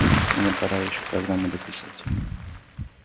мне пора ещё программу дописывать